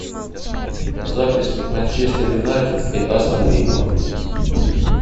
запись манчестер юнайтед и астон вилла